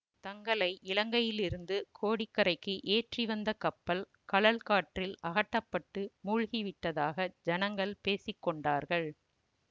தங்களை இலங்கையிலிருந்து கோடி கரைக்கு ஏற்றி வந்த கப்பல் கழல் காற்றில் அகட்டப்பட்டு மூழ்கி விட்டதாக ஜனங்கள் பேசி கொண்டார்கள்